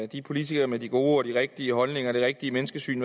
de politikere med de gode og de rigtige holdninger og det rigtige menneskesyn